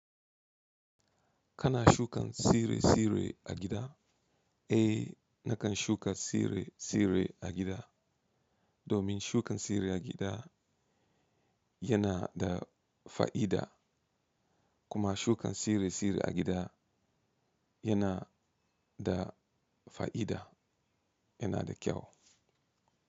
Kana shukan sire sire a gida? Eh nakan shuka sire sire agida, domin shukan sire agida yana da fa'ida. Kuma shukan sire sire agida yana da fa'ida, yana da kyau.